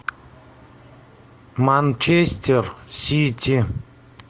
манчестер сити